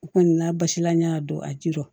U kɔni n'a basila n y'a don a jiron